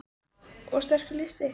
Kristinn: Og sterkur listi?